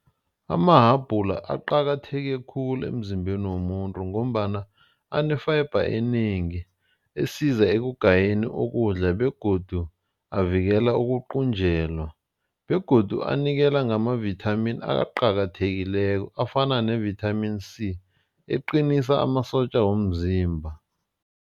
Amahabhula aqakatheke khulu emzimbeni womuntu. Ngombana ane-fiber enengi esiza ekugayeni ukudla begodu avikela ukuqunjelwa begodu anikela ngamavithamini aqakathekileko afana nevithamini C eqinisa amasotja womzimba.